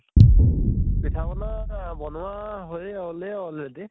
পিঠা পনা বনোৱা হৈয়ে হʼলে already